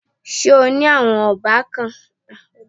Ṣé o ní àwọn ọbàkan?